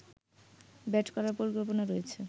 bat করার পরিকল্পনা রয়েছে